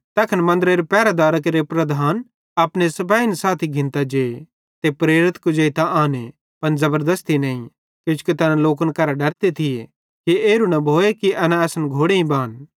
तैखन मन्दरेरे पहरेदारां केरे प्रधान अपने सिपाही साथी घिन्तां जे ते प्रेरित कुजेइतां आने पन ज़बरदस्ती नईं किजोकि तैना लोकन करां डरते थिये कि एरू न भोए एना असन घोड़ेईं बान